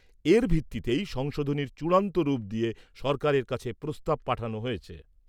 এর ভিত্তিতেই সংশোধনীর চূড়ান্ত রূপ দিয়ে সরকারের কাছে প্রস্তাব পাঠানো হয়েছে।